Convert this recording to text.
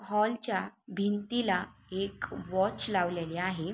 Hall च्या भिंतीला एक वॉच लावलेले आहे.